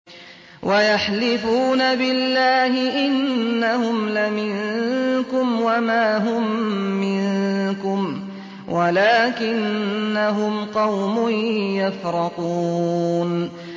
وَيَحْلِفُونَ بِاللَّهِ إِنَّهُمْ لَمِنكُمْ وَمَا هُم مِّنكُمْ وَلَٰكِنَّهُمْ قَوْمٌ يَفْرَقُونَ